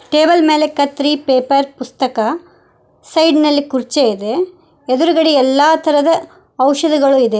Table ಮೇಲೆ ಕತ್ರಿ paper ಪುಸ್ತಕ ಸೈಡ್ ನಲ್ಲೇ ಕುರ್ಚಿ ಇದೆ ಎದ್ರುಗಡೆ ಎಲ್ಲಾ ತರಹದ ಔಷಧಿಗಳು ಇದೆ.